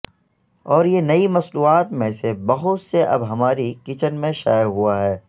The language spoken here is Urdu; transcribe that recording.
اور یہ نئی مصنوعات میں سے بہت سے اب ہماری کچن میں شائع ہوا ہے